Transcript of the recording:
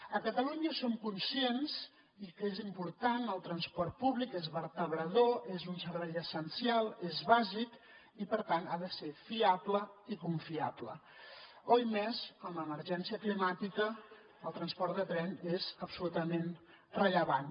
a catalunya som conscients que és important el transport públic és vertebrador és un servei essencial és bàsic i per tant ha de ser fiable i confiable oimés amb emergència climàtica el transport de tren és absolutament rellevant